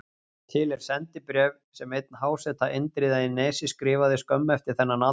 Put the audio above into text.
Til er sendibréf sem einn háseta Indriða í Nesi skrifaði skömmu eftir þennan atburð.